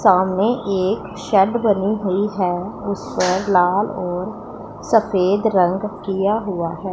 सामने एक शेड बनीं हुई हैं उस शेड लाल और सफेद रंग किया हुआ हैं।